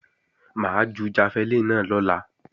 Mà á ju jafẹlíìnì náà lọ́la